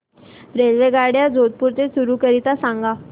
रेल्वेगाड्या जोधपुर ते चूरू करीता सांगा